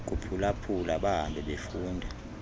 kuphulaphula bahambe befunda